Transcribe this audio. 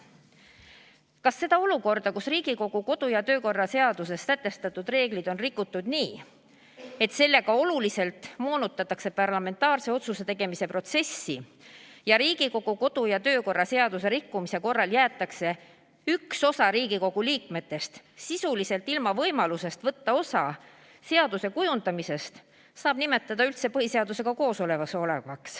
Kas seda olukorda, kus Riigikogu kodu- ja töökorra seaduses sätestatud reegleid on rikutud nii, et sellega oluliselt moonutatakse parlamentaarse otsuse tegemise protsessi ja Riigikogu kodu- ja töökorra seaduse rikkumise korral jäetakse üks osa Riigikogu liikmetest sisuliselt ilma võimalusest võtta osa seaduse kujundamisest, saab nimetada üldse põhiseadusega kooskõlas olevaks?